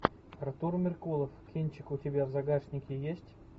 артур меркулов кинчик у тебя в загашнике есть